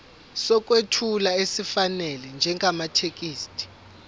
sokwethula esifanele njengamathekisthi